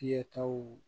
Fiyɛtaw